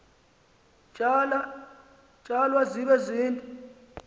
tsalwa zibe zide